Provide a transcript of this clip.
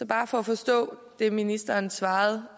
bare for at forstå det ministeren svarede